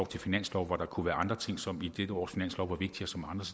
til finanslov hvor der kunne være andre ting som ligesom i dette års finanslov